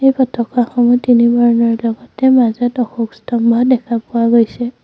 এই পতকাসমূহ তিনি বৰণৰ লগতে মাজত অশোকস্তম্ভ দেখা পোৱা গৈছে।